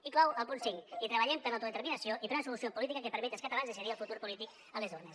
i clou el punt cinc i treballem per l’autodeterminació i per una solució política que permeti als catalans decidir el futur polític a les urnes